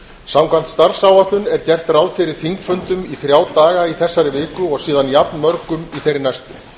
samkvæmt starfsáætlun er gert ráð fyrir þingfundum í þrjá daga í þessari viku og síðan jafn mörgum í þeirri næstu